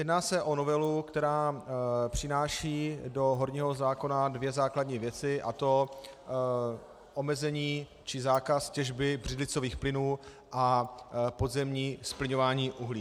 Jedná se o novelu, která přináší do horního zákona dvě základní věci, a to omezení či zákaz těžby břidlicových plynů a podzemní zplyňování uhlí.